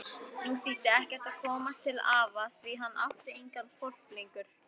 Nú þýddi ekkert að komast til afa því hann átti engan hvolp lengur.